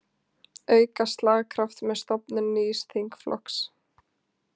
Auka slagkraft með stofnun nýs þingflokks